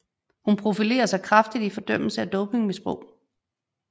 Hun profilerer sig kraftigt i fordømmelse af dopingmisbrug